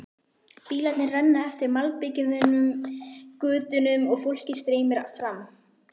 Bílarnir renna eftir malbikuðum götunum og fólkið streymir fram.